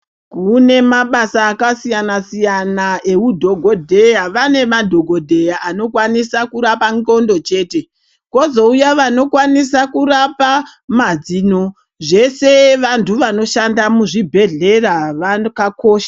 Kunemabasa akasiyana siyana eudhokodheya. Vanemadhokodheya anokwanisa kurapa ndxondo chete, kwozouya vanokwanisa kurapa mazino. Zveshe vantu vanoshanda muzvibhedhera vakakosha.